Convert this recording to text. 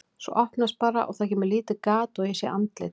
Svo opnast bara og það kemur lítið gat og ég sé andlit.